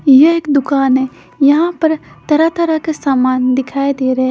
यह एक दुकान है यहां पर तरह तरह के समान दिखाई दे रहे--